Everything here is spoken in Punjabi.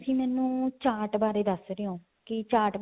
ਤੁਸੀਂ ਮੈਨੂੰ ਚਾਰਟ ਬਾਰੇ ਦੱਸ ਰਿਹੇ ਹੋ ਕਿ ਚਾਰਟ